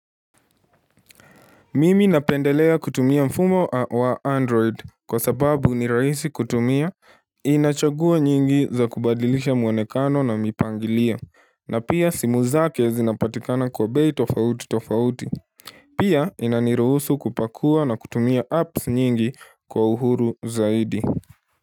Mimi napendelea kutumia mfumo wa android kwa sababu ni rahisi kutumia Inachaguo nyingi za kubadilisha mwonekano na mipangilio na pia simu zake zinapatikana kwa bei tofauti tofauti Pia inaniruhusu kupakua na kutumia apps nyingi kwa uhuru zaidi.